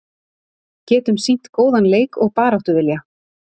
Getum sýnt góðan leik og baráttuvilja